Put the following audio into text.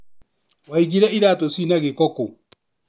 Wũigire iratũ cina gĩko kũũ?